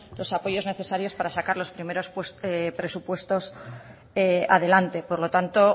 los apoyos necesarios para sacar los primeros presupuestos adelante por lo tanto